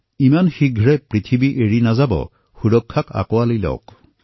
ইমান সোনকালে পৃথিৱী নেৰিব সুৰক্ষাৰ সৈতে এতিয়া সম্বন্ধ গঢ়ক